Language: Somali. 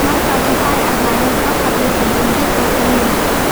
markaas waxay ahaayeen afaar iyo sodon sano jiir oo keliya.